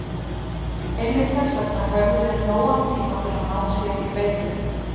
Einmitt þess vegna höfðu þeir nógan tíma til að ná sér í beitu.